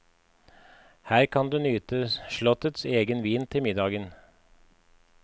Her kan du nyte slottets egen vin til middagen.